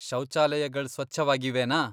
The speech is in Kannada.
ಶೌಚಾಲಯಗಳ್ ಸ್ವಚ್ಛವಾಗಿವೆನಾ?